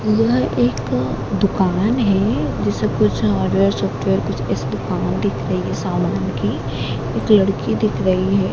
यह एक दुकान है जो सब कुछ हार्डवेयर सॉफ्टवेयर कुछ इस दुकान दिख रही है सामान की एक लड़की दिख रही है।